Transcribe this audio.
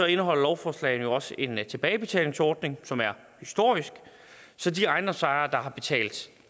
indeholder lovforslagene også en tilbagebetalingsordning som er historisk så de ejendomsejere der har betalt